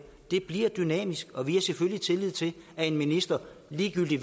det bliver dynamisk og vi har selvfølgelig tillid til at en minister ligegyldig